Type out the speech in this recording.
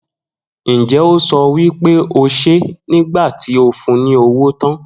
Njẹ o so wipe o ṣe nigbati o fun ni owo tan?